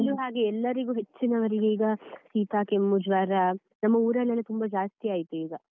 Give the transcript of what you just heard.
ಈ ಊರಲ್ಲೂ ಹಾಗೆ ಎಲ್ಲರಿಗೂ ಹೆಚ್ಚಿನವರಿಗೆ ಈಗ ಶೀತ, ಕೆಮ್ಮು, ಜ್ವರ ನಮ್ಮ ಊರಲ್ಲಿ ತುಂಬಾ ಜಾಸ್ತಿ ಆಯ್ತು ಈಗ.